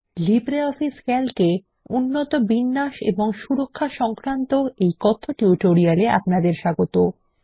LibreOffice Calc এর উন্নত বিন্যাস এবং সুরক্ষা সংক্রান্ত এই কথ্য টিউটোরিয়াল এ আপনাদের স্বাগতো